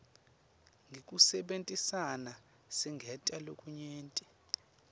ngekusebentisana singenta lokunyenti